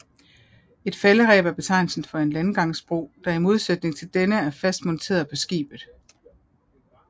Et Faldereb er betegnelse for en landgangsbro der i modsætning til denne er fast monteret på skibet